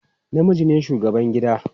Namiji ne shugaban gida.